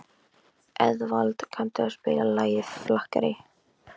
Eðvald, kanntu að spila lagið „Flakkarinn“?